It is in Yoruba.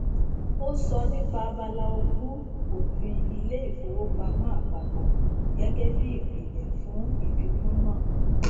ó sọ nípa abala ogún òfin ilé ìfowópamọ àpapọ gẹgẹ bí ìpìlẹ fún ìfikún náà